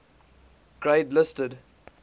grade listed